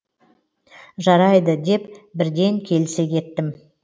жарайды деп бірден келісе кеттім